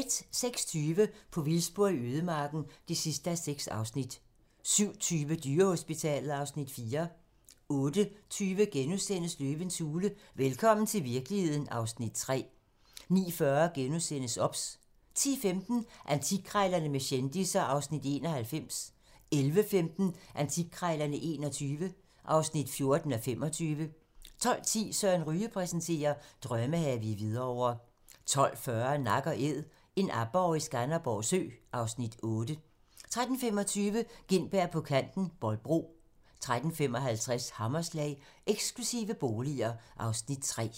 06:20: På vildspor i ødemarken (6:6) 07:20: Dyrehospitalet (Afs. 4) 08:20: Løvens hule - velkommen til virkeligheden (Afs. 3)* 09:40: OBS * 10:15: Antikkrejlerne med kendisser (Afs. 91) 11:15: Antikkrejlerne XXI (14:25) 12:10: Søren Ryge præsenterer: Drømmehave i Hvidovre 12:40: Nak & æd - en aborre i Skanderborg Sø (Afs. 8) 13:25: Gintberg på Kanten - Bolbro 13:55: Hammerslag - Eksklusive boliger (Afs. 3)